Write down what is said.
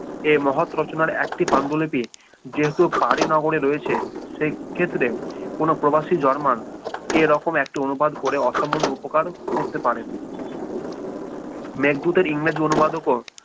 এ মহৎ রচনার একটি পাণ্ডুলিপি যেহেতু পারো নগরে রয়েছে সেই ক্ষেত্রে কোনো প্রবাসী জার্মান এরকম একটি অনুবাদ করে অসামান্য উপকার করতে পারেন মেঘদূতের ইংরেজি অনুবাদ ও করে